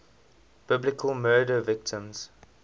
biblical murder victims